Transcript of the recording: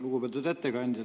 Lugupeetud ettekandja!